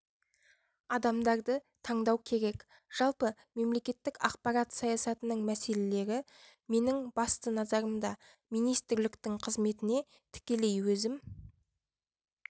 адамдарды таңдау керек жалпы мемлекеттік ақпарат саясатының мәселелері менің басты назарымда министрліктің қызметіне тікелей өзім